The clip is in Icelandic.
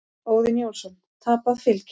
Óðinn Jónsson: Tapað fylgi.